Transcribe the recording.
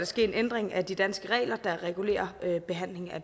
ske en ændring af de danske regler der regulerer behandlingen af